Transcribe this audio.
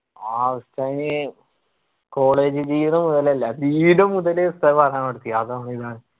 ആ ഉസ്താദിന് college ജീവിധം മുതല് അല്ല B. ed മുതല് ഉസ്താദ് പഠനം നിർത്തി